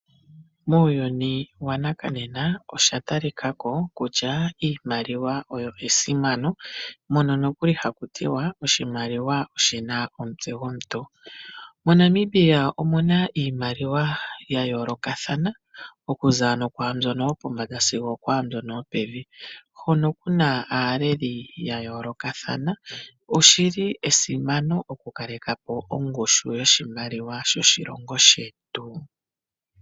Muuyuni wanakanena iimaliwa oya talika ko kutya iimaliwa oyo esimano. Mono nokuli haku tiwa oshimaliwa oshina omutse gomuntu. MoNamibia omuna iimaliwa ya yoolokathana okuza ano kwaambyono yopombanda sigo okwaambyono yopevi. Hono kuna aaleli ya yoolokathana. Oshili esimano okukaleka po ongushu yoshimaliwa shoshilongo shetu.